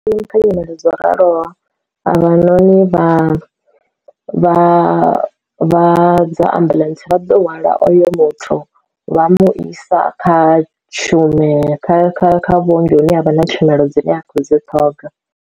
Ndi kha nyimele dzo raloho havhanoni vha vha vha dza ambuḽentse vha ḓo hwala oyo muthu vha mu isa kha tshumelo kha kha kha vhuongi hune ha vha na tshumelo dzine a khou dzi ṱhoga.